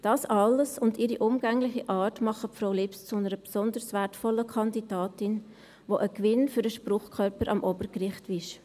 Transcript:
Das alles und ihre umgängliche Art machen Frau Lips zu einer besonders wertvollen Kandidatin, die ein Gewinn für den Spruchkörper am Obergericht ist.